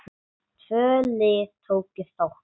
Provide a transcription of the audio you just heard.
Tvö lið tóku þátt.